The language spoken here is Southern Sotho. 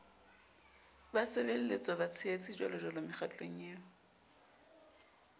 basebelletswa batshehetsi jjwalojwalo mekgatlong eo